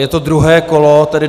Je to druhé kolo, bod